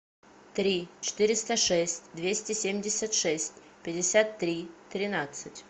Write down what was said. три четыреста шесть двести семьдесят шесть пятьдесят три тринадцать